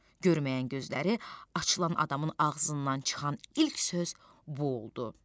Görməyən gözləri açılan adamın ağzından çıxan ilk söz bu oldu.